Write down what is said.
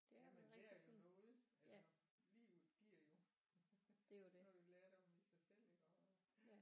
Ja man lærer jo noget altså livet giver jo noget lærdom i sig selv iggå